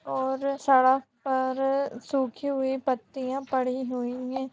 और सड़क पर सूखी हुई पत्तियां पड़ीं हुईं हैं।